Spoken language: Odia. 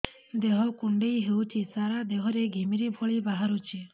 ଦେହ କୁଣ୍ଡେଇ ହେଉଛି ସାରା ଦେହ ରେ ଘିମିରି ଭଳି ବାହାରୁଛି